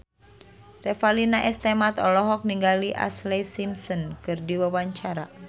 Revalina S. Temat olohok ningali Ashlee Simpson keur diwawancara